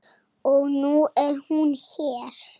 Og nú er hún hér.